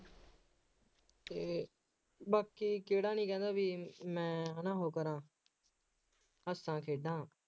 ਅਤੇ ਬਾਕੀ ਕਿਹੜਾ ਨਹੀਂ ਕਹਿੰਦਾ ਬਈ, ਮੈਂ ਹੈ ਨਾ ਉਹ ਕਰਾਂ, ਹੱਸਾਂ, ਖੇਡਾਂ